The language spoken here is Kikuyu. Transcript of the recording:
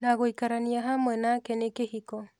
Na gũikarania hamwe nake nĩ kĩhiko".